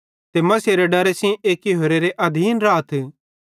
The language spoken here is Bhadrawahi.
ते मसीहेरे डरे सेइं एक्की होरेरे अधीन राथ